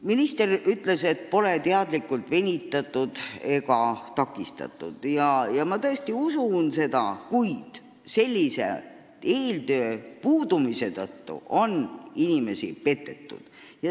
Minister ütles, et siin pole teadlikult venitatud ega kedagi takistatud, ja ma tõesti usun seda, kuid eeltöö puudumise tõttu on inimesi petetud.